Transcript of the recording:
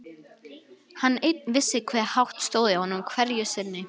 Hann einn vissi hve hátt stóð í honum hverju sinni.